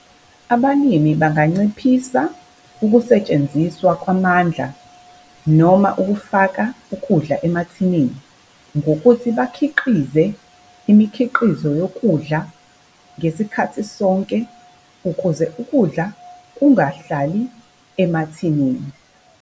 Abalimi banganciphisa ukusetshenziswa kwamandla noma ukufaka ukudla emathinini ngokuthi bakhiqize imikhiqizo yokudla ngesikhathi sonke, ukuze ukudla kungahlali emathinini.